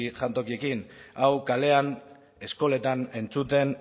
jantokiekin hau kalean eskoletan entzuten